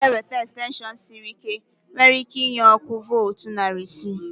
Nneoma ga ewete extension sịrị ike, nwere ike inye ọkụ voltu narị isi